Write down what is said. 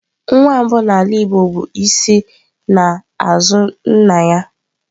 Nwa mbụ n'ala igbo bụ isi n'azu nna ya.